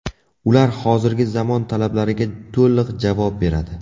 Ular hozirgi zamon talablariga to‘liq javob beradi.